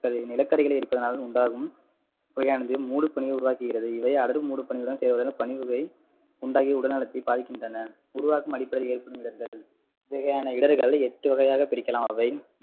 நிலக்கரிகளை எடுப்பதனால் உண்டாகும் புகையானது மூடுபனியை உருவாக்குகிறது இவை மூடுபனியுடன் சேர்வதால் பனிப்புகை உண்டாக்கி உடல் நலத்தை பாதிக்கின்றன உருவாகும் அடிப்படையில் ஏற்படும் இடர்கள் இவ்வகையான இடர்கள் எட்டு வகையாக பிரிக்கலாம் அவை